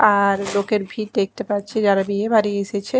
আর লোকের ভিড় দেখতে পাচ্ছি যারা বিয়েবাড়ি এসেছে।